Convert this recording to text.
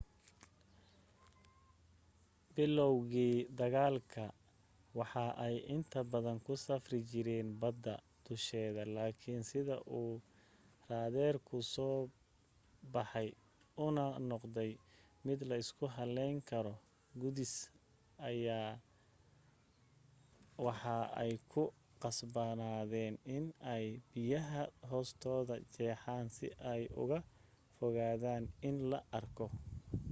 bilawgi dagaalka waxa ay inta badan ku safri jireen bada dusheeda laakin sida uu raaderku uu uso baxay una noqday mid leysku haleyn karo gudis yada waxa ay ku qasbanaadeyn in ay biyaha hoostoda jeexan si ay uuga fogaadan in la arko